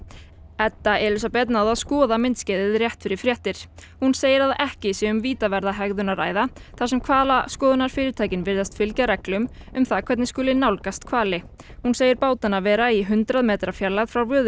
Edda Elísabet náði að skoða myndskeiðið rétt fyrir fréttir hún segir að ekki sé um vítaverða hegðun að ræða þar sem hvalaskoðunarfyrirtækin virðist fylgja reglum um hvernig skuli nálgast hvali hún segir bátana vera í hundrað metra fjarlægð frá